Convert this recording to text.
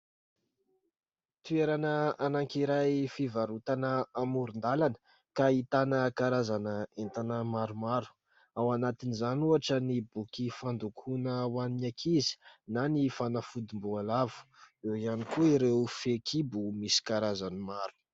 Toerana anankiray fivarotana amoron-dalana ka ahitana karazana entana maromaro. Ao anatin'izany ohatra ny boky fandokoana ho an'ny ankizy na ny fanafodim-boalavo. Eo ihany koa ireo fehinkibo misy karazany maro.